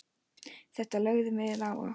Þetta lögðum við á okkur.